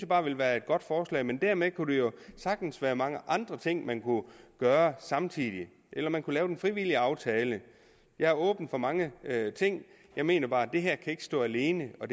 bare ville være et godt forslag men dermed kunne der jo sagtens være mange andre ting man kunne gøre samtidig eller man kunne lave den frivillige aftale jeg er åben over for mange ting jeg mener bare at det her ikke kan stå alene og